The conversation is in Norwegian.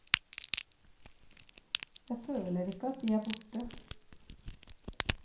Jeg føler ikke at de er borte.